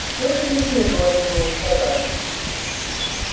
что же ещё я должен был сказать